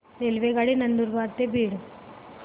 रेल्वेगाडी नंदुरबार ते बीड